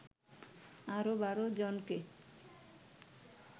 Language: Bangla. আরও ১২ জনকে